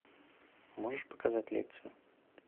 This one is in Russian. можешь показать лекцию